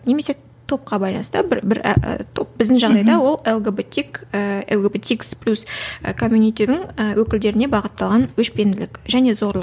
немесе топқа байланысты бір бір ііі топ біздің жағдайда ол лгбтик ііі лгбтикс плюс і комьюнитидің ііі өкілдеріне бағытталған өшпенділік және зорлық